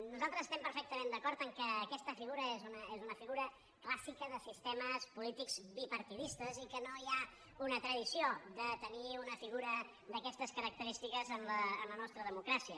nosaltres estem perfectament d’acord que aquesta figura és una figura clàssica de sistemes polítics bipartidistes i que no hi ha una tradició de tenir una figura d’aquestes característiques en la nostra democràcia